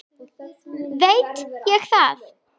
veit ég það?